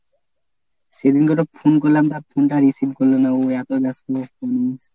সেদিনকে এটা phone করলাম তা phone টা receive করল না ও এতই ব্যস্ত ।